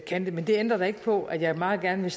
kan det men det ændrer da ikke på at jeg meget gerne